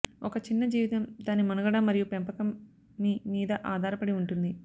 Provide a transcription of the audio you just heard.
ఒక చిన్న జీవితం దాని మనుగడ మరియు పెంపకం మీ మీద ఆధారపడి ఉంటుంది